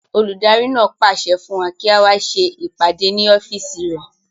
Olùdarí náà pàṣẹ fún wa kí á wá ṣe ìpàdé ní ọ́fìsì rẹ̀